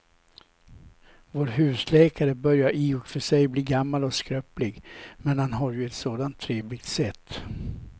Vår husläkare börjar i och för sig bli gammal och skröplig, men han har ju ett sådant trevligt sätt!